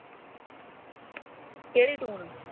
ਕਿਹੜੀ ਟੂਨ